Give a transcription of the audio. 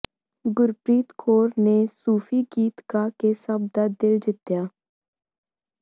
ਗੁਰਪ੍ਰੀਤ ਕੌਰ ਨੇ ਸੂਫ਼ੀ ਗੀਤ ਗਾ ਕੇ ਸਭ ਦਾ ਦਿਲ ਜਿੱਤਿਆ